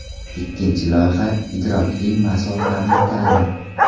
Ikkinchi loyiha - idrokli masofaviy ta’lim.